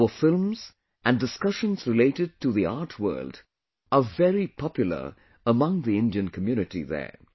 Our films and discussions related to the art world are very popular among the Indian community there